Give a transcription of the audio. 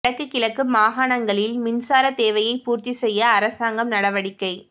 வடக்கு கிழக்கு மாகாணங்களில் மின்சார தேவையை பூர்த்தி செய்ய அரசாங்கம் நடவடிக்கை